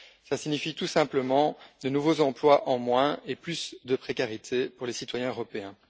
Cela signifie tout simplement de nouveaux emplois en moins et plus de précarité pour les citoyens européens.